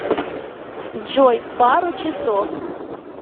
джой пару часов